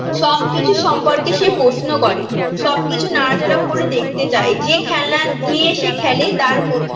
সবকিছুর সম্পর্কে সে প্রশ্ন করে সব কিছু নাড়াচাড়া করে দেখতে চায় যে খেলনা নিয়ে সে খেলে তার ক